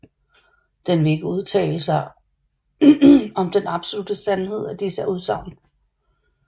Den vil ikke udtale sige om den absolutte sandhed af disse udsagn